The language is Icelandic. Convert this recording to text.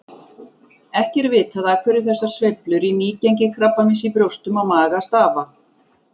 Ekki er vitað af hverju þessar sveiflur í nýgengi krabbameins í brjóstum og maga stafa.